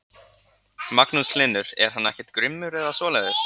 Magnús Hlynur: Er hann ekkert grimmur eða svoleiðis?